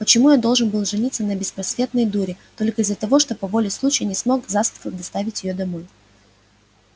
почему я должен был жениться на беспросветной дуре только из-за того что по воле случая не смог засветло доставить её домой